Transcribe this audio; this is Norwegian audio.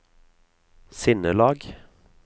sinnelag